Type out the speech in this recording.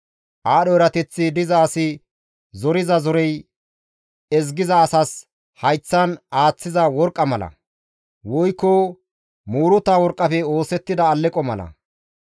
Aadho erateththi diza asi zoriza zorey ezgiza asas hayththan aaththiza worqqa mala; woykko muuruta worqqafe oosettida alleqo mala.